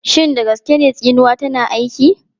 Shin da gaske ne tsinuwa tana aiki?